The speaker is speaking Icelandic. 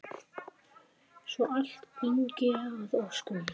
Svo allt gangi að óskum.